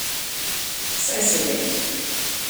Saj se ve.